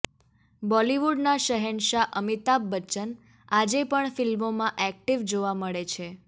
બોલિવૂડના શહેનશાહ અમિતાભ બચ્ચન આજે પણ ફિલ્મોમાં એક્ટિવ જોવા મળે છે